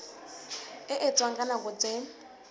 e etswang ka nako tse